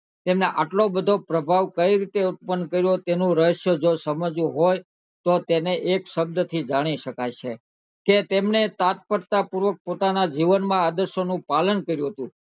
તમને એટલો બધો પ્રભાવ કરી રીતે ઉત્પન્ન કર્યો તેનું રહ્શ્ય સમજવું હોય તો તને એક શબ્દ થી જાણી શકાય છે કે તેમને તત્પરતા પૂર્વક પોતાના જીવન માં આદેશો નું પાલન કર્યું હતું